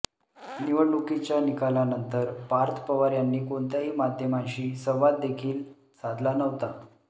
निवडणुकीच्या निकालानंतर पार्थ पवार यांनी कोणत्याही माध्यमांशी संवाद देखील साधला नव्हता